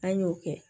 An y'o kɛ